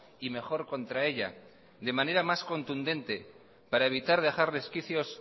y mejor contra ella de manera más contundente para evitar dejar resquicios